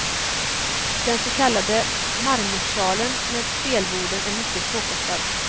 Den så kallade marmorsalen med spelborden är mycket påkostad.